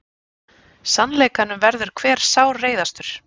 Sannleikanum verður hver sárreiðastur.